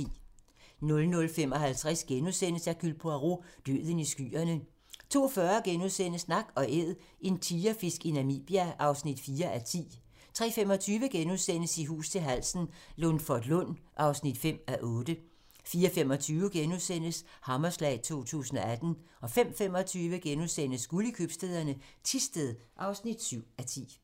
00:55: Hercule Poirot: Døden i skyerne * 02:40: Nak & Æd - en tigerfisk i Namibia (4:10)* 03:25: I hus til halsen - Lundforlund (5:8)* 04:25: Hammerslag 2018 * 05:25: Guld i købstæderne - Thisted (7:10)*